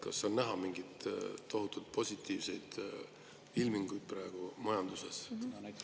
Kas on praegu näha mingeid tohutult positiivseid ilminguid majanduses?